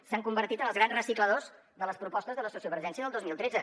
s’han convertit en els grans recicladors de les propostes de la sociovergència del dos mil tretze